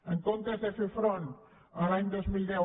en comptes de fer front l’any dos mil deu